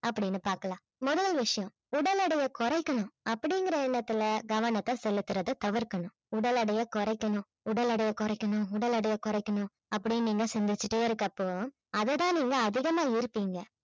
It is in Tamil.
அப்படின்னு பார்க்கலாம் முதல் விஷயம் உடல் எடையை குறைக்கணும் அப்படிங்கிற எண்ணத்துல கவனத்தை செலுத்துறதை தவிர்க்கணும் உடல் எடையை குறைக்கணும் உடல் எடையை குறைக்கணும் உடல் எடையை குறைக்கணும் அப்படின்னு நீங்க சிந்திச்சுக்கிட்டே இருக்கிறப்போ அதைதான் நீங்க அதிகமா வெறுப்பீங்க